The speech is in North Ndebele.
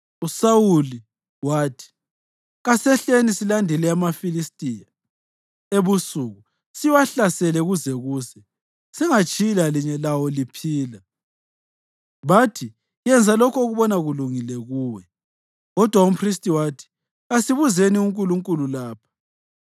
USawuli wathi, “Kasehleni silandele amaFilistiya ebusuku siwahlasele kuze kuse, singatshiyi lalinye lawo liphila.” Bathi, “Yenza lokho okubona kulungile kuwe.” Kodwa umphristi wathi, “Kasibuzeni uNkulunkulu lapha.”